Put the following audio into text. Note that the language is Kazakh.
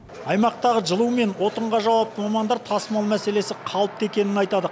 аймақтағы жылу мен отынға жауапты мамандар тасымал мәселесі қалыпты екенін айтады